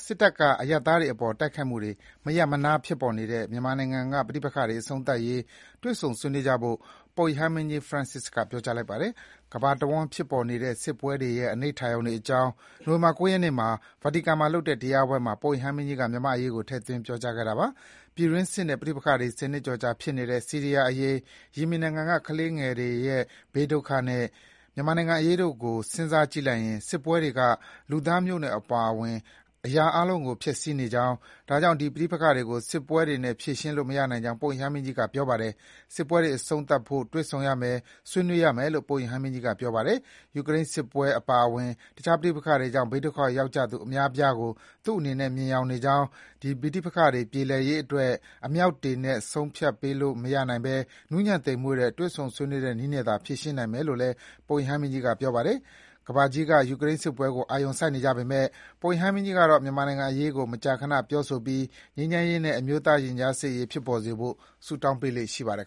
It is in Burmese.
စစ်တပ်က အရပ်သားတွေအပေါ် မရပ်မနားတိုက်ခိုက်နေတဲ့ မြန်မာနိုင်ငံမှာ ဖြစ်ပေါ်နေတဲ့ ပဋိပက္ခတွေ အဆုံးသတ်ရေး တွေ့ဆုံ ဆွေးနွေးကြဖို့ ပုပ်ရဟန်းမင်းကြီး Francis က ပြောကြားလိုက်ပါတယ်။ ကမ္ဘာတဝန်းဖြစ်နေတဲ့စစ်ပွဲတွေရဲ့ အနိဋ္ဌာရုံတွေအကြောင်း နိုဝင်ဘာ ၉ ရက်နေ့က Vatican မှာလုပ်တဲ့တရားပွဲမှာ ပုပ်ရဟန်းမင်းကြီးက မြန်မာ့အရေးကို ထည့်သွင်း ပြောကြားခဲ့တာပါ။ ပြည်တွင်းစစ်နဲ့ပဋိပက္ခတွေ ၁၀ နှစ်ကျော်ကြာ ဖြစ်နေတဲ့ ဆီးရီးယားအရေး၊ ယီမင်နိုင်ငံက ကလေးငယ်တွေရဲ့ ဘေးဒုက္ခနဲ့ မြန်မာနိုင်ငံအရေးတို့ကို စဉ်းစားကြည့်လိုက်ရင် စစ်ပွဲတွေက လူသားမျိုးနွယ်အပါအဝင် အရာအားလုံးကို ဖျက်ဆီးနေကြောင်း၊ ဒါကြောင့် ဒီပဋိပက္ခတွေကို စစ်ပွဲတွေနဲ့ ဖြေရှင်းလို့ မရနိုင်ကြောင်း ပုပ်ရဟန်းမင်းကြီးက ပြောပါတယ်။ စစ်ပွဲတွေအဆုံးသတ်ဖို့ တွေ့ဆုံရမယ်၊ ဆွေးနွေးရမယ်လို့ ပုပ်ရဟန်းမင်းကြီးကပြောပါတယ်။ ယူကရိန်းစစ်ပွဲအပါအဝင် တခြား ပဋိပက္ခတွေကြောင့် ဘေးဒုက္ခရောက်ကြသူ အများအပြားကို သူ့အနေနဲ့ မြင်ယောင်နေကြောင်း၊ ဒီပဋိပက္ခတွေပြေလည်ရေးအတွက် အမြောက်တွေနဲ့ ဆုံးဖြတ်ပေးလို့မရနိုင်ဘဲ နူးညံ့သိမ်မွေ့တဲ့ တွေ့ဆုံ ဆွေးနွေးတဲ့နည်းနဲ့သာ ဖြေရှင်းနိုင်မယ်လို့ ပုပ်ရဟန်းမင်းကြီးက ပြောပါတယ်။ ကမ္ဘာကြီးက ယူကရိန်းစစ်ပွဲကိုအာရုံစိုက်နေကြပေမဲ့ ပုပ်ရဟန်းမင်းကြီးကတော့ မြန်မာနိုင်ငံအရေးကို မကြာခဏ ပြောဆိုပြီး ငြိမ်းချမ်းရေးနဲ့ အမျိုးသားရင်ကြားစေ့ရေး ဖြစ်ပေါ်စေဖို့ ဆုတောင်းပေးလေ့ရှိပါတယ်